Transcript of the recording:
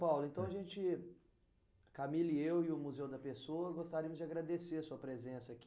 Paulo, então a gente, Camille, eu e o Museu da Pessoa, gostaríamos de agradecer a sua presença aqui.